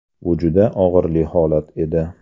Bu juda og‘riqli holat edi.